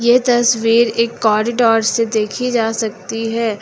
ये तस्वीर एक कॉरिडोर से देखी जा सकती है।